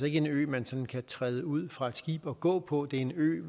ikke en ø man sådan kan træde ud fra et skib og gå på det er en ø